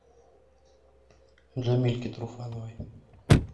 джамильке труфановой